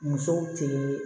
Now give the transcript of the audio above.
Musow te